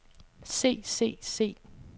se se se